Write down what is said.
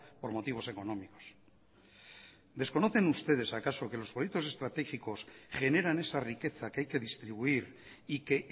por motivos económicos desconocen ustedes acaso que los proyectos estratégicos generan esa riqueza que hay que distribuir y que